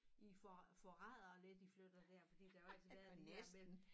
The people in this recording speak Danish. I for forræder lidt i flytter dér fordi der har jo altid været det dér mellem